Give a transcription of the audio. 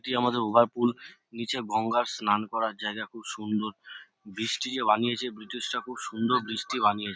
এটি আমাদের ওভারপুল । নিচে গঙ্গার স্নান করার জায়গা খুব সুন্দর । ব্রিজটি যে বানিয়েছে ব্রিটিশ রা খুব সুন্দর ব্রিজ টি বানিয়ে--